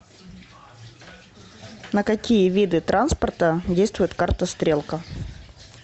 на какие виды транспорта действует карта стрелка